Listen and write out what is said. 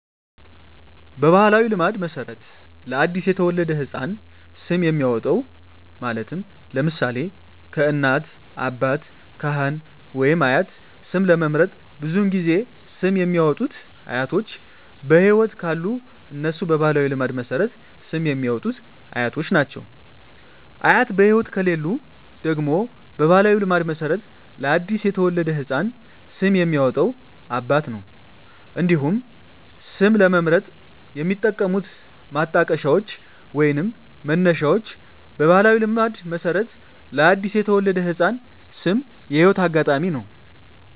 በባሕላዊ ልማድ መሠረት ለ አዲስ የተወለደ ሕፃን ስም የሚያወጣዉ (ለምሳሌ: ከእናት፣ አባት፣ ካህን ወይም አያት) ስም ለመምረጥ ብዙውን ጊዜ ስም የሚያወጡት አያቶች በህይወት ካሉ እነሱ በባህላዊ ልማድ መሠረት ስም የሚያወጡት አያቶች ናቸው። አያት በህይወት ከሌሉ ደግሞ በባህላዊ ልማድ መሠረት ለአዲስ የተወለደ ህፃን ስም የሚያወጣው አባት ነው። እንዲሁም ስም ለመምረጥ የሚጠቀሙት ማጣቀሻዎች ወይንም መነሻዎች በባህላዊ ልማድ መሠረት ለአዲስ የተወለደ ህፃን ስም የህይወት አጋጣሚ ነው።